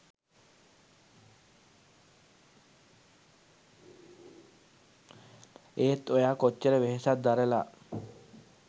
ඒත් ඔයා කොච්චර වෙහෙසක් දරල